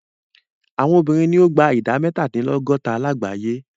Àwọn obìnrin ni o gba ìdá mẹ́tàdínlọ́gọ́ta lágbàyé.